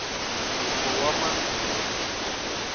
ngingowamanzunza